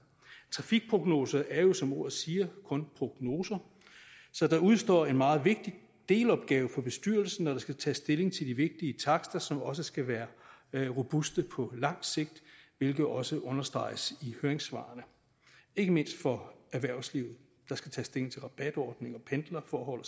trafikprognoser er jo som ordet siger kun prognoser så der udestår en meget vigtig delopgave for bestyrelsen når der skal tages stilling til de vigtige takster som også skal være være robuste på lang sigt hvilket også understreges i høringssvarene ikke mindst for erhvervslivet der skal tages stilling til rabatordninger pendlerforhold